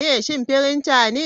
Shin printer ne?